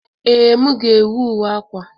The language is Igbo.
Ee, m ga-ewu uwe akwa.